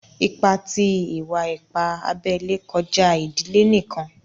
Ìpà tí ìwà-ìpà àbèlè kọ̀jà ìdílé níkan.